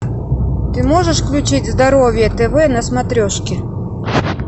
ты можешь включить здоровье тв на смотрешке